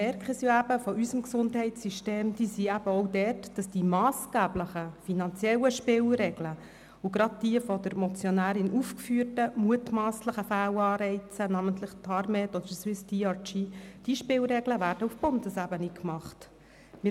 Die Schwierigkeiten unseres Gesundheitssystems liegen eben auch dort, dass die massgeblichen finanziellen Spielregeln – und gerade die von der Motionärin aufgeführten mutmasslichen Fehlanreize, namentlich TARMED oder SwissDRG – auf Bundesebene gemacht werden.